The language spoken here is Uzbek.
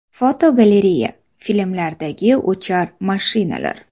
Fotogalereya: Filmlardagi uchar mashinalar.